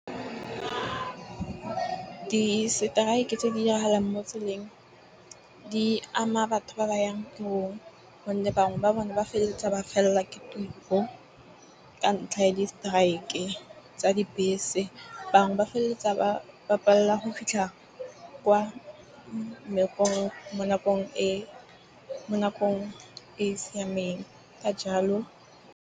Di-strike tse di diragalang mo tseleng di ama batho ba ba yang tirong, gonne bangwe ba bone ba feleletsa ba fellwa ke tiro. Ka ntlha ya di-strike tsa dibese. Bangwe ba feleletsa ba palelwa ke go fitlha kwa mmerekong mo nakong e mo nakong e siameng ka jalo.